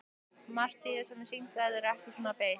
Margt af því sem sýnt verður er ekki svo beysið.